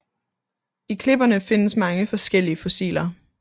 I klipperne findes mange forskellige fossiler